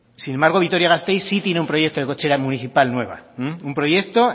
sin embargo vitoria gasteiz sí tiene un proyecto de cochera municipal nueva un proyecto